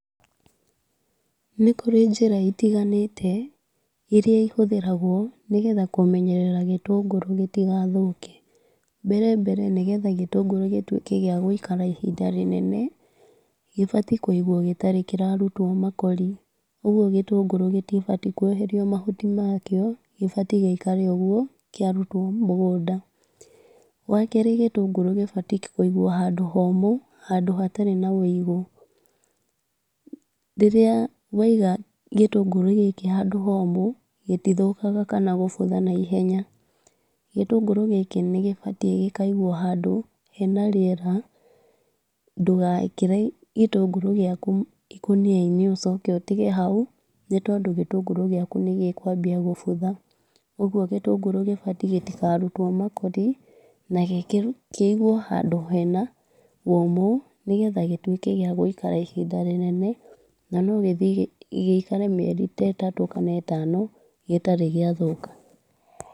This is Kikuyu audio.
Nĩ kũrĩ njĩra itiganĩte iria ihũthĩragwo nĩgetha kũmenyerera gĩtũngũrũ gĩtigathũke. Mbere mbere nĩgetha gĩtũngũrũ gĩtuĩke gĩa gũikara ihinda rĩnene, gĩbatie kũigwo gĩtarĩ kĩrarutwo makori. Ũguo gĩtũngũrũ gĩtibatie kweherio mahuti makĩo gĩbatie gĩikare ũguo kĩarutwo mũgũnda. Wakerĩ gĩtũngũrũ gĩbatie kũigwo handũ homũ, handũ hatarĩ na ũigũ. Rĩrĩa waiga gĩtũngũrũ gĩkĩ handũ homũ gĩtithũkaga kana kũbutha na ihenya. Gĩtũngũrũ gĩkĩ nĩgĩbatie gĩkaigwo handũ hena rĩera ndũgekĩre gĩtũngũrũ gĩaku ikũniainĩ ũcoke ũtige hau nĩ tondũ gĩtũngũrũ gĩaku nĩgĩkwambia gũbutha. Ũguo gĩtũngũrũ gĩbatie gĩtikarutwo makori na kĩiguo handũ hena ũmũ nĩgetha gĩtuĩke gĩa gũikara ihinda inene na no gĩthiĩ gĩkare mĩeri ĩtatũ kana ĩtano gĩtarĩ gĩathũka.